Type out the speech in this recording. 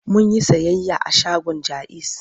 Mun yi sayayya a shagon Jaiz.